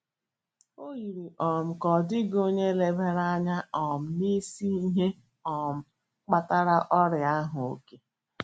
O yiri um ka ọ dịghị onye lebara anya um na isi ihe um kpatara ọrịa ahụ — òké.